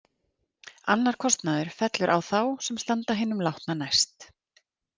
Annar kostnaður fellur á þá sem standa hinum látna næst.